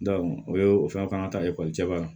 o ye o fɛnw ka kan ka ta ekɔliso cɛ wa